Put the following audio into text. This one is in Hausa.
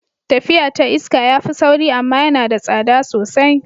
Tafiya ta iska ya fi sauri amma yana da tsada sosai.